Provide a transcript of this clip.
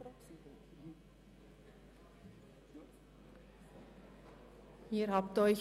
Auch diesem Ordnungsantrag haben Sie zugestimmt.